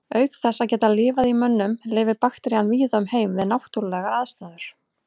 Auk þess að geta lifað í mönnum lifir bakterían víða um heim við náttúrulegar aðstæður.